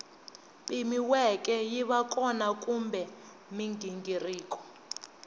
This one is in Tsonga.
pimiweke yiva kona kumbe mighingiriko